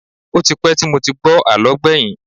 Ó ti pẹ́ tí mo ti gbọ́ àlọ́ gbẹ̀yìn